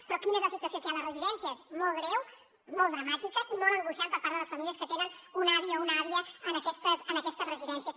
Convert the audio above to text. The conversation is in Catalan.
però quina és la situació que hi ha a les residències molt greu molt dramàtica i molt angoixant per part de les famílies que tenen un avi o una àvia en aquestes residències